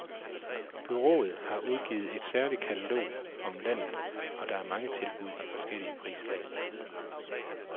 Bureauet har udgivet et særligt katalog om landet, og der er mange tilbud i forskellige prislag.